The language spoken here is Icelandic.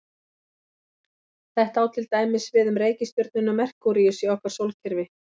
Þetta á til dæmis við um reikistjörnuna Merkúríus í okkar sólkerfi.